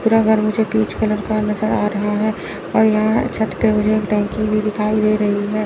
पूरा घर मुझे पीच कलर का नज़र आ रहा है और यहां छत पे मुझे टंकी भी दिखाई दे रही है।